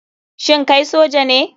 Shin kai soja ne